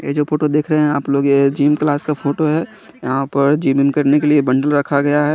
ये जो फोटो देख रहे हैं आप लोग यह जिम क्लास का फोटो है यहां पर जीम करने के लिए बंडल रखा गया है।